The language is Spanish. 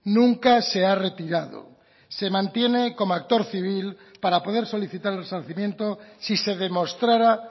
nunca se ha retirado se mantiene como actor civil para poder solicitar el resarcimiento si se demostrara